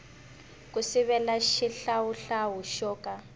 ku sivela xihlawuhlawu xo ka